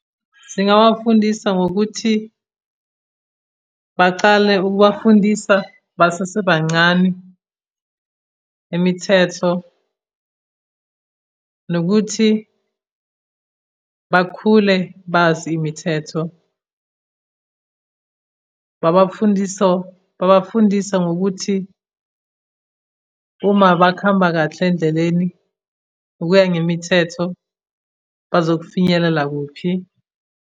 Zingawafundisa ngokuthi bacale ukubafundisa basasebancane imithetho, nokuthi bakhule bazi imithetho. Babafundiso, babafundise ngokuthi uma bakhamba kahle endleleni, ukuya ngemithetho, bazokufinyelela kuphi.